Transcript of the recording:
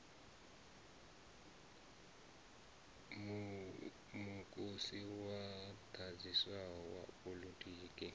mukosi u ḓaḓisaho wa poḽotiki